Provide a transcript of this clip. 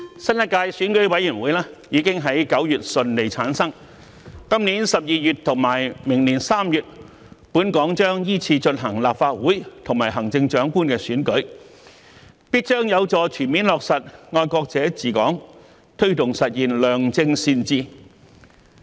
新一屆選舉委員會已於9月順利產生，今年12月和明年3月，本港將依次進行立法會和行政長官的選舉，必將有助全面落實"愛國者治港"，推動實現良政善治。